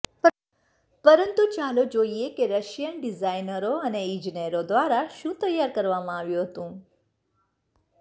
પરંતુ ચાલો જોઈએ કે રશિયન ડિઝાઇનરો અને ઇજનેરો દ્વારા શું તૈયાર કરવામાં આવ્યું હતું